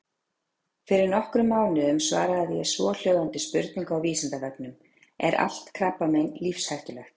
Fyrir nokkrum mánuðum svaraði ég svohljóðandi spurningu á Vísindavefnum: Er allt krabbamein lífshættulegt?.